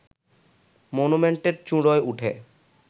মনুমেন্টের চূঁড়োয় উঠে